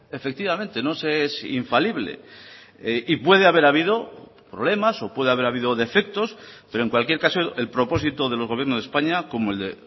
efectivamente no se es infalible y puede haber habido problemas o puede haber habido defectos pero en cualquier caso el propósito del gobierno de españa como el de